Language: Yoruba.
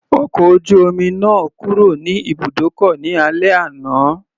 Ọkọ̀ ojú omi náà kúrò ní ibùdókọ̀ ní alẹ́ àná.